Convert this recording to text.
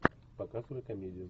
показывай комедию